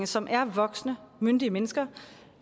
som er voksne myndige mennesker